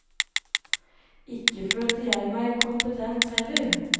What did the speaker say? Ikke følte jeg meg kompetent heller.